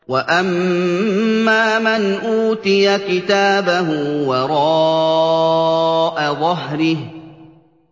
وَأَمَّا مَنْ أُوتِيَ كِتَابَهُ وَرَاءَ ظَهْرِهِ